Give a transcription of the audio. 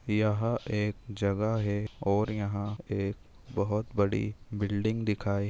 यहाँ एक जगह है और यहाँ एक बहुत बड़ी बिल्डिंग दिखाई--